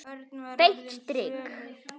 Beint strik!